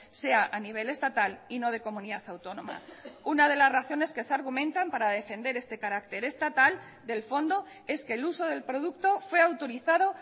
sea a nivel estatal y no de comunidad autónoma una de las razones que se argumentan para defender este carácter estatal del fondo es que el uso del producto fue autorizado